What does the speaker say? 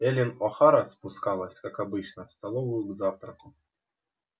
эллин охара спускалась как обычно в столовую к завтраку